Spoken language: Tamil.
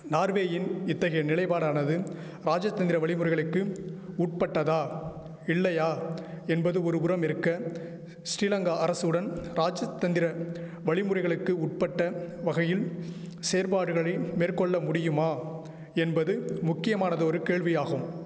நார்வேயின் இத்தகைய நிலைபாடானது ராஜதந்திர வழிமுறைகளுக்கு உட்பட்டதா இல்லையா என்பது ஒருபுறம் இருக்க ஸ்ரீலங்கா அரசுடன் ராஜத்தந்திர வழிமுறைகளுக்கு உட்பட்ட வகையில் செயற்பாடுகளை மேற்கொள்ள முடியுமா என்பது முக்கியமானதொரு கேள்வியாகும்